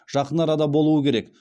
жақын арада болуы керек